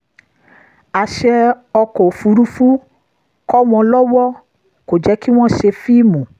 àṣẹ ọkọ̀ òfurufú kọ́ wọn lọwọ kò jẹ́ kí wọ́n ṣe fíìmù